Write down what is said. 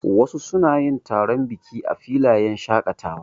Wasu suna yin taron biki a filayen shaƙatawa.